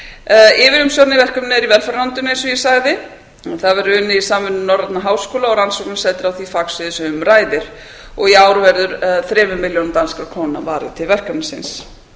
gegnum yfirumsjón með verkefninu er í velferðarráðuneytinu eins og ég sagði það verður unnið í samvinnu norrænna háskóla og rannsóknarsetri á því fagsviði sem um ræðir í ár verður þremur milljónum danskra króna til verkefnisins